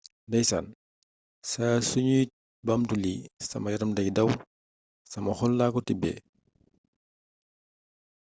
ndaysaan saa yu nuy baamtu lii sama yaram day daw sama xol laa ko tibbee